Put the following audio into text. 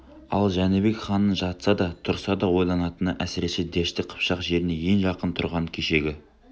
ал жәнібек ханның жатса да тұрса да ойлайтыны әсіресе дәшті қыпшақ жеріне ең жақын тұрған кешегі